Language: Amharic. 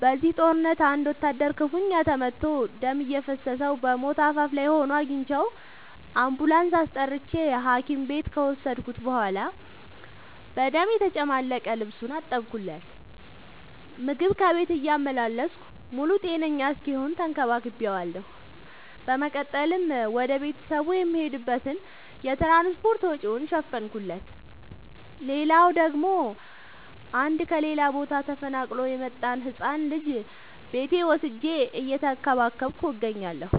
በዚህ ጦርነት አንድ ወታደር ክፋኛ ተመቶ ደም እየፈሰሰው በሞት አፋፍ ላይ ሆኖ አግኝቼው። አንቡላንስ አስጠርቼ ሀኪም ቤት ከወሰድከት በኋላ በደም የተጨማለቀ ልብሱን አጠብለት። ምግብ ከቤት እያመላለስኩ ሙሉ ጤነኛ እስኪሆን ተከባክ ቤዋለሁ። በመቀጠልም ወደ ቤተሰቡ የሚሄድበትን የትራንስፓርት ወጪውን ሸፈንኩለት። ሌላላው ደግሞ አንድ ከሌላ ቦታ ተፈናቅሎ የመጣን ህፃን ልጅ ቤቴ ወስጄ እየተንከባከብኩ እገኛለሁ።